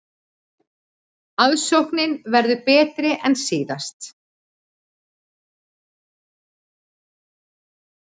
Aðsóknin verður betri en síðast